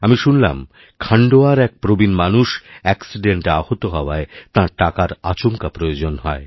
আমি শুনলাম খাণ্ডোয়ার একপ্রবীণ মানুষ অ্যাক্সিডেন্টে আহত হওয়ায় তাঁর টাকার আচমকা প্রয়োজন হয়